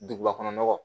Duguba kɔnɔ nɔgɔ